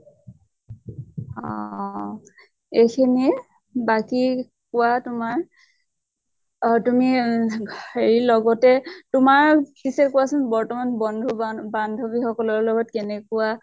অহ্হ এইখিনিয়ে। বাকী কোৱা তোমাৰ। আহ তুমি উম হেৰি লগতে তোমাৰ পিছে কোৱাচোন বৰ্তমান বন্ধু বান বান্ধ্ৱী সকলৰ লগত কেনেকুৱা